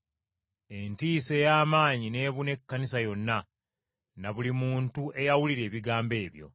Entiisa ey’amaanyi n’ebuna Ekkanisa yonna na buli muntu eyawulira ebigambo ebyo.